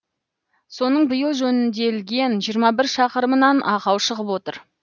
соның биыл жөнделген жиырма бір шақырымынан ақау шығып отыр